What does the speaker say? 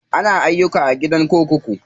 Ana ayyuka a gidan kurkuku.